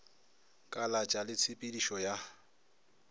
kalatša le tshe pedišo ya